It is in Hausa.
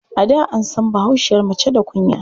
A da an san bahaushiyar mace da kunya.